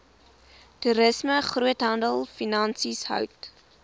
toerisme groothandelfinansies hout